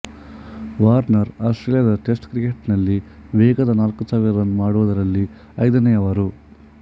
Warner ಆಸ್ತ್ರೇಲಿಯಾದ test cricket ನಲ್ಲಿ ವೇಗದ ನಾಲ್ಕುಸಾವಿರ ರನ್ ಮಾಡುವುದರಲ್ಲಿ ಐದನೇಯವರು